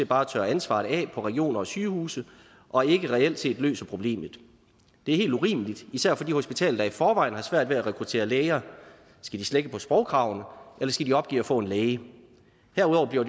bare tørrer ansvaret af på regioner og sygehuse og ikke reelt set løser problemet det er helt urimeligt især for de hospitaler der i forvejen har svært ved at rekruttere læger skal de slække på sprogkravene eller skal de opgive at få en læge herudover bliver